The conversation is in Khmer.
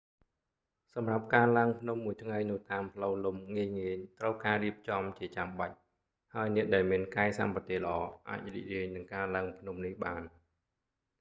សម្រាប់ការឡើងភ្នំមួយថ្ងៃនៅតាមផ្លូវលំងាយៗត្រូវការការរៀបចំជាចាំបាច់ហើយអ្នកដែលមានកាយសម្បទាល្អអាចរីករាយនឹងការឡើងភ្នំនេះបាន